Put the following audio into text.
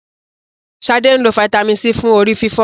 Sade nlọ Vitamin c fún orí-fífọ́.